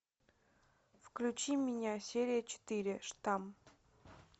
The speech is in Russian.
включи меня серия четыре штамм